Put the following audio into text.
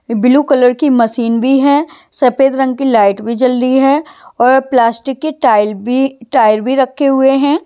बिलु colour की machine भी है सफेद रंग की लाइट भी जल रही है और प्लास्टिक की टाइल भी टायर भी रखे हुए हैं।